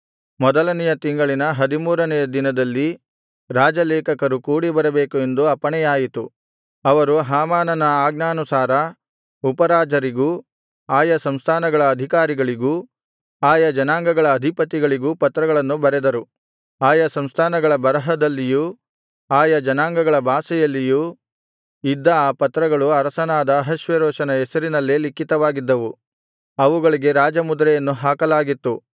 ಮೊದಲನೆಯ ತಿಂಗಳಿನ ಹದಿಮೂರನೆಯ ದಿನದಲ್ಲಿ ರಾಜಲೇಖಕರು ಕೂಡಿ ಬರಬೇಕು ಎಂದು ಅಪ್ಪಣೆಯಾಯಿತು ಅವರು ಹಾಮಾನನ ಆಜ್ಞಾನುಸಾರ ಉಪರಾಜರಿಗೂ ಆಯಾ ಸಂಸ್ಥಾನಗಳ ಅಧಿಕಾರಿಗಳಿಗೂ ಆಯಾ ಜನಾಂಗಗಳ ಅಧಿಪತಿಗಳಿಗೂ ಪತ್ರಗಳನ್ನು ಬರೆದರು ಆಯಾ ಸಂಸ್ಥಾನಗಳ ಬರಹದಲ್ಲಿಯೂ ಆಯಾ ಜನಾಂಗಗಳ ಭಾಷೆಯಲ್ಲಿಯೂ ಇದ್ದ ಆ ಪತ್ರಗಳು ಅರಸನಾದ ಅಹಷ್ವೇರೋಷನ ಹೆಸರಿನಲ್ಲೇ ಲಿಖಿತವಾಗಿದ್ದವು ಅವುಗಳಿಗೆ ರಾಜಮುದ್ರೆಯನ್ನು ಹಾಕಲಾಗಿತ್ತು